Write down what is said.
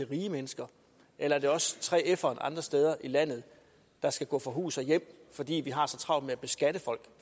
rige mennesker eller er det også 3ferne andre steder i landet der skal gå fra hus og hjem fordi vi har så travlt med at beskatte folk